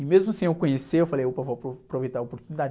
E mesmo sem eu conhecer, eu falei, opa, vou apro, aproveitar a oportunidade.